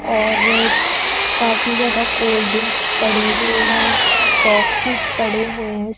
और काफी ज्यादा कोल्ड ड्रिंक्स पड़ी हुई हैं बॉक्सेस पड़े हुए--